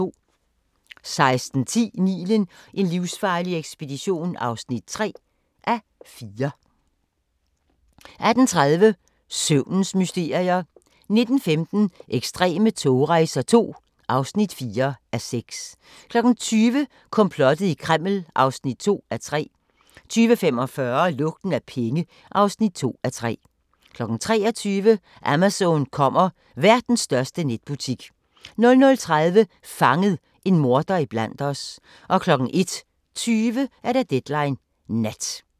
16:10: Nilen: en livsfarlig ekspedition (3:4) 18:30: Søvnens mysterier 19:15: Ekstreme togrejser II (4:6) 20:00: Komplottet i Kreml (2:3) 20:45: Lugten af penge (2:3) 23:00: Amazon kommer – verdens største netbutik 00:30: Fanget – en morder iblandt os 01:20: Deadline Nat